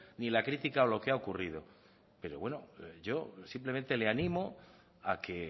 ni la crítica o lo que ha ocurrido pero bueno yo simplemente le animo a que